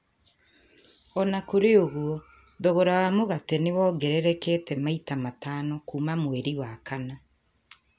O na kũrĩ ũguo, thogora wa mũgate nĩ wongererekete maita matano kuuma mweri wa kana.